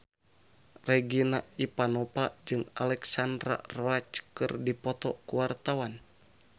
Regina Ivanova jeung Alexandra Roach keur dipoto ku wartawan